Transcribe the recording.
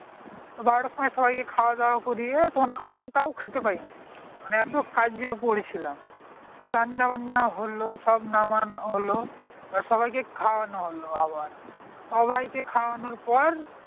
বারোটার সময়ে সবাই কে খাওয়া দাওয়া করিয়ে তখন আমরা তাও খেতে পাই নি মানে এতো কাজে পরে ছিলাম রান্না বান্না হলো সব নামান হলো এবার সবাই কে খাওয়ানো হলো আবার সবাই কে খাওয়ানোর পর